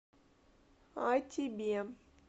а тебе